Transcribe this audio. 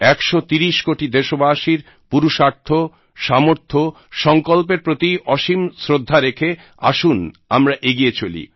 একশো তিরিশ কোটি দেশবাসীর পুরুষার্থ সামর্থ্য সঙ্কল্পের প্রতি অসীম শ্রদ্ধা রেখে আসুন আমরা এগিয়ে চলি